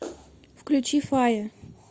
включи фая